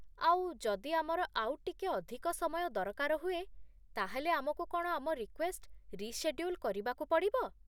ଆଉ, ଯଦି ଆମର ଆଉ ଟିକେ ଅଧିକ ସମୟ ଦରକାର ହୁଏ, ତା'ହେଲେ ଆମକୁ କ'ଣ ଆମ ରିକ୍ୱେଷ୍ଟ ରିଶେଡ୍ୟୁଲ୍ କରିବାକୁ ପଡ଼ିବ?